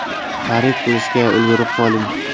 Xarid qilishga ulgurib qoling!